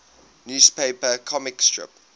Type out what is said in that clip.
newspaper comic strip